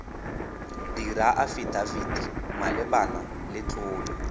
dira afidafiti malebana le tlolo